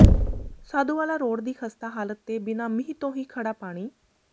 Sadhuwala road ਦੀ ਖ਼ਸਤਾ ਹਾਲਤ ਤੇ ਬਿਨਾ ਮੀਂਹ ਤੋਂ ਹੀ ਖੜ੍ਹਾ ਪਾਣੀ